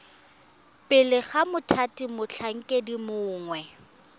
pele ga mothati motlhankedi mongwe